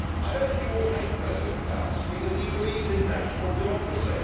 I know that you all hate President Klaus because he believes in national democracy.